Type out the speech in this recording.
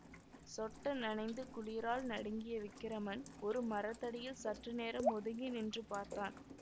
சொட்ட நனைந்து குளிரால் நடுங்கிய விக்கிரமன் ஒரு மரத்தடியில் சற்று நேரம் ஒதுங்கி நின்று பார்த்தான்